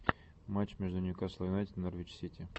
матч между ньюкасл юнайтед и норвич сити